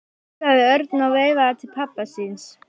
flissaði Örn og veifaði til pabba síns.